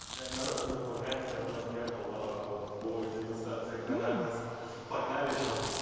блядь народ тут вакансия подъехала по дегустации каннабиса погнали что